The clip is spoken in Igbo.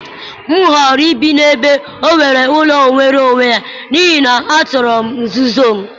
M họọrọ ibi n'ebe e nwere ụlọ nwere onwe ya, n'ihi na achọrọ m nzuzo m